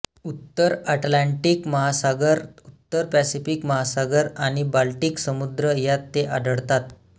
उत्तर अटलांटिक महासागर उत्तर पॅसिफिक महासागर आणि बाल्टिक समुद्र यात ते आढळतात